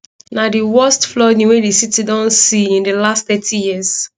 na di worst flooding wey di city don se in di last thirty years